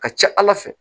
Ka ca ala fɛ